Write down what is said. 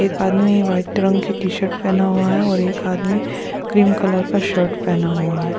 एक आदमी वाइट रंग की टी-शर्ट पहना हुआ है और एक आदमी क्रीम कलर का शर्ट पहना हुआ है।